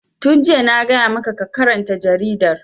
Tun jiya na gaya ma ka karanta jaridar!